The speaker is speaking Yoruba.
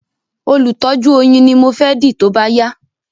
Olùtọ́jú oyin ni mo fẹ́ dì tóbá yá